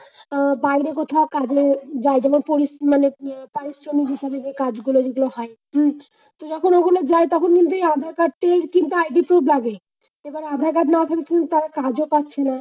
আহ বাইরে কোথাও কাজে যাই মানে প্ররি মানে পারিশ্রমিক হিসেবে যে কাজগুলো যদিও হয়। হম তো যখন ওখানে যায় তখন কিন্তু এই আধার-কার্ডটির কিন্তু ID proof লাগে। এই বার আধার-কার্ড না থাকলে কিন্তু তারা কাজ ও পাচ্ছে না।